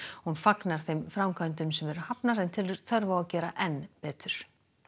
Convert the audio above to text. hún fagnar þeim framkvæmdum sem eru hafnar en telur þörf á að gera enn betur